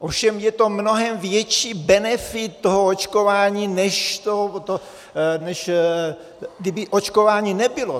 Ovšem je to mnohem větší benefit toho očkování, než kdyby očkování nebylo.